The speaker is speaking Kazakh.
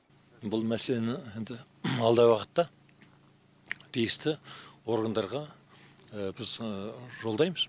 бұл мәселені енді алдағы уақытта тиісті органдарға біз жолдаймыз